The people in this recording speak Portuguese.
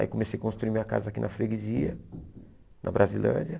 Aí comecei a construir minha casa aqui na Freguesia, na Brasilândia.